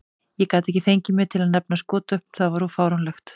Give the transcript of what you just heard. Ég gat ekki fengið mig til að nefna skotvopn, það var of fáránlegt.